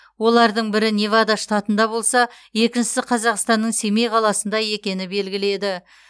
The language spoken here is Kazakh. олардың бірі невада штатында болса екіншісі қазақстанның семей қаласында екені белгілі еді